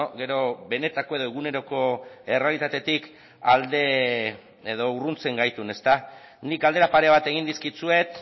gero benetako edo eguneroko errealitatetik alde edo urruntzen gaituen nik galdera pare bat egin dizkizuet